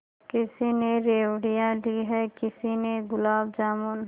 किसी ने रेवड़ियाँ ली हैं किसी ने गुलाब जामुन